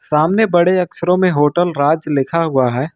सामने बड़े अक्षरों में होटल राज लिखा हुआ है।